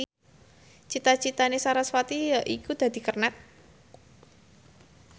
cita citane sarasvati yaiku dadi kernet